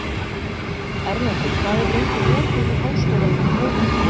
Erlendur, hvað er lengi opið í Háskólanum á Hólum?